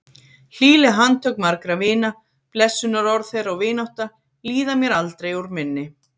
Hlýleg handtök margra vina, blessunarorð þeirra og vinátta, líða mér aldrei úr minni.